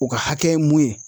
U ka hakɛ mun ye